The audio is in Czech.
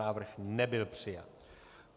Návrh nebyl přijat.